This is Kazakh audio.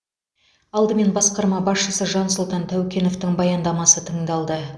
алдымен басқарма басшысы жансұлтан тәукеновтің баяндамасы тыңдалды